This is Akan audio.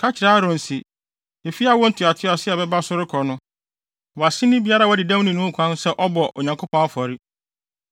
“Ka kyerɛ Aaron se, efi awo ntoatoaso a ɛbɛba no so rekɔ no, wʼaseni biara a wadi dɛm no nni ho kwan sɛ ɔbɔ Onyankopɔn afɔre.